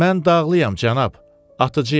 Mən dağlıyam, cənab, atıcıyam.